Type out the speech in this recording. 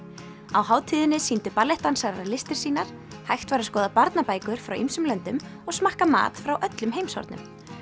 á hátíðinni sýndu listir sínar hægt var að skoða barnabækur frá ýmsum löndum og smakka mat frá öllum heimshornum